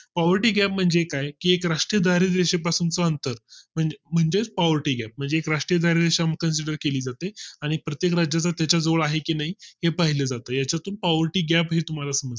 poverty gap म्हणजे काय की एक राष्ट्रीय दिवशी पासून च अंतर तर म्हणजेच poverty gap आहे म्हणजे एक राष्ट्रीय दारिद्र्य रेषा consider केली जाते आणि प्रत्येक राज्याच्या जोड आहे की नाही हे पाहिले जाते यातून पावती gap ही तुम्हाला समजा